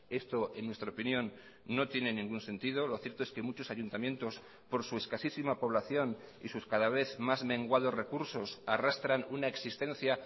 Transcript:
esto en nuestra opinión no tiene ningún sentido lo cierto es que muchos ayuntamientos por su escasísima población y sus cada vez más menguados recursos arrastran una existencia